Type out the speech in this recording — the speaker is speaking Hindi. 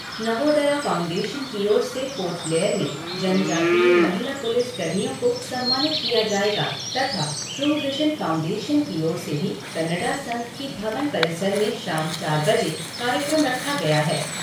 नवोदया फ़ाउन्डेशन की ओर से पोर्ट ब्लेयर में जनजातिय महिला पुलिस कर्मियों को सम्मानित किया जाएगा तथा ट्रू विज़न फ़ाउन्डेशन की ओर से भी कन्नडा संघ की भवन परिसर में शाम चार बजे कार्यक्रम रखा गया है।